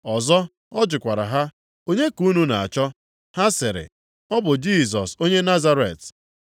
Ọzọ ọ jụkwara ha, “Onye ka unu na-achọ?” Ha sịrị, “Ọ bụ Jisọs onye Nazaret.”